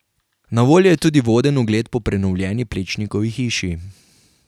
Na voljo je tudi voden ogled po prenovljeni Plečnikovi hiši.